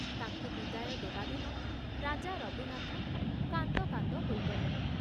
ତାଙ୍କୁ ବିଦାୟ ଦେବା ଦିନ ରାଜା ରଘୁନାଥ କାନ୍ଦ କାନ୍ଦ ହୋଇଗଲେ।